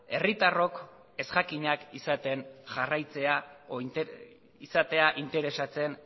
herritarrak ezjakinak izatea interesatzen